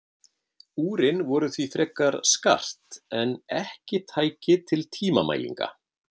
Úrin voru því frekar skart en tæki til tímamælinga.